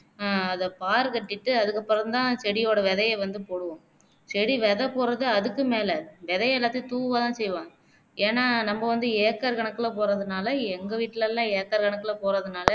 அஹ் அதா பாரு கட்டீட்டு அதுக்கு அப்பறம்தான் செடியோட விதையைவந்து போடுவோம் செடி விதை போடுறது அதுக்கும் மேல விதையை எல்லாத்தையும் தூவதான் செய்வாங்க ஏனா நம்ம வந்து acre கணக்குலே போடுறதுனாலே எங்க வீட்டிலேலாம் acre கணக்குலே போடுறதுனாலே